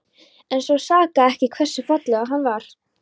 En svo sakaði ekki hversu fallegur hann var.